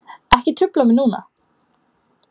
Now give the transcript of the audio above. Ekki trufla mig núna.